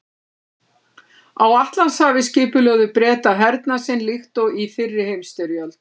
Á Atlantshafi skipulögðu Bretar hernað sinn líkt og í fyrri heimsstyrjöld.